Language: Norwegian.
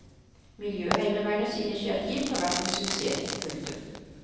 Miljøheimevernets initiativ har vært en suksess. punktum